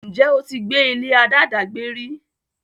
ǹjẹ́ o ti gbé ilé aláàdágbé rí?